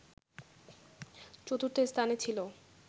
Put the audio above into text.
চতুর্থ স্থানে ছিল”